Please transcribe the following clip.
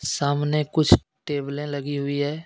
सामने कुछ टेबले लगी हुई है.